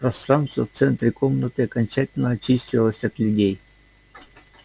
пространство в центре комнаты окончательно очистилось от людей